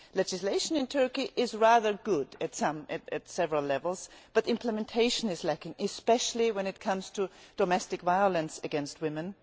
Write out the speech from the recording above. Legislation in Turkey is rather good at several levels, but implementation is lacking, especially when it comes to domestic violence against women.